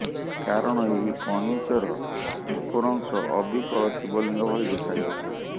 କାରଣ ଏହି କଇଁଚର ଉପର ଅଂଶ ଅବିକଳ ଶିବଲିଙ୍ଗ ଭଳି ଦେଖା ଯାଉଥିଲା